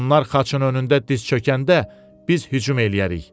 Onlar xaçın önündə diz çökəndə biz hücum eləyərik.